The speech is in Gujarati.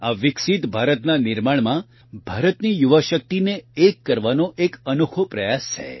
આ વિકસિત ભારતના નિર્માણમાં ભારતની યુવાશક્તિને એક કરવાનો એક અનોખો પ્રયાસ છે